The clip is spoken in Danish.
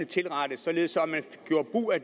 tilrettes således at man gjorde brug af